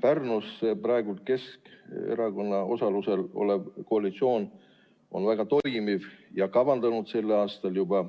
Pärnus praegu Keskerakonna osalusel tegutsev koalitsioon on väga toimiv ja kavandanud sel aastal juba